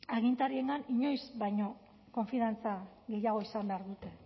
agintariengan inoiz baino konfiantza gehiago izan behar dute